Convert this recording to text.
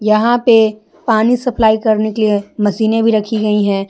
यहां पे पानी सप्लाई करने के लिए मशीने भी रखी गई हैं।